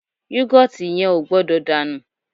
Yọ́gọ̀tì yẹn ò gbọ́dọ̀ dànù